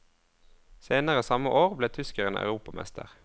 Senere samme år ble tyskeren europamester.